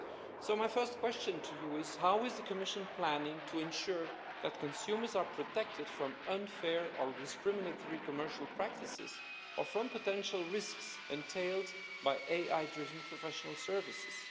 So my first question to you is how is the Commission planning to ensure that consumers are protected from unfair or discriminatory commercial practices or from potential risks entailed by AI-driven professional services?